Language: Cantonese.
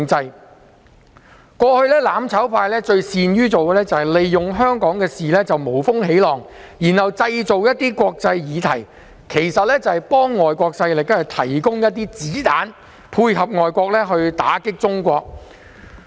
一直以來，"攬炒派"最擅於利用香港事務無風起浪，藉以製造國際議題，這無非是為外國勢力提供"子彈"，配合外國勢力打擊中國。